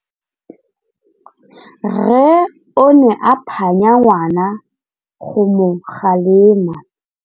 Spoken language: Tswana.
Rre o ne a phanya ngwana go mo galemela.